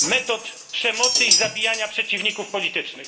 metod przemocy i zabijania przeciwników politycznych.